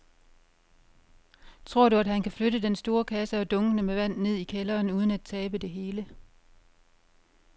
Tror du, at han kan flytte den store kasse og dunkene med vand ned i kælderen uden at tabe det hele?